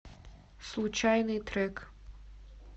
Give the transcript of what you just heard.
случайный трек